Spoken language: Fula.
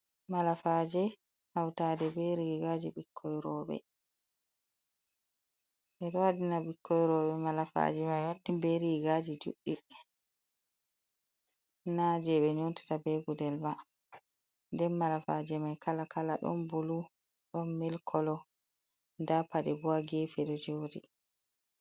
Malafaje hautade be riigaji ɓikkon roɓe, ɓe ɗo waɗina ɓikkon roɓe malafaje mai be riigaji juɗɗi. Naje ɓe nyootata be gudel ba, nden malafaje mai kaala -kaala ɗon bulu ɗon mil koolo, nda paaɗe bo ha geefe ɗo jooɗi.